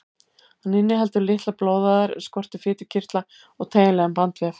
Hann inniheldur litlar blóðæðar en skortir fitukirtla og teygjanlegan bandvef.